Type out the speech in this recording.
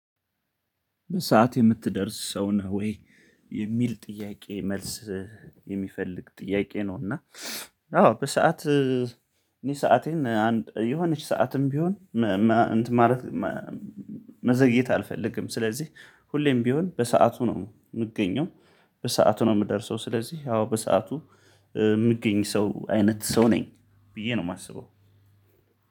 በሰአት የምትደርስ ሰው ነህ ወይ የሚል ጥያቄ መልስ የሚፈልግ ጥያቄ ነው እና አዎ በሰአት እኔ ሰአቴን የሆነች ሰዓትም ቢሆን እንትን ማለት መዘግየት አልፈልግም። ስለዚህ ሁሌም ቢሆን በሰአቱ ነው የምገኘው፣ በሰአቱ ነው የምደርሰው። ስለዚህ አዎ በሰአቱ የምገኝ ሰው አይነት ሰው ነኝ ብዬ ነው የማስበው።